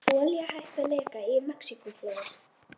Olía hætt að leka í Mexíkóflóa